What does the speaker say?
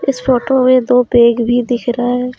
इस फोटो में दो बैग भी दिख रहे हैं।